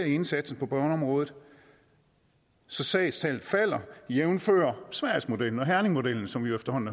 i indsatsen på børneområdet så sagstallet falder jævnfør sverigesmodellen og herningmodellen som vi efterhånden